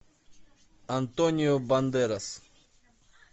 антонио бандерас